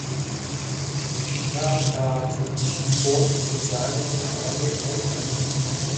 на карте фонд социального страхования рф